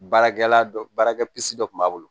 Baarakɛla dɔ baarakɛsisi dɔ kun b'a bolo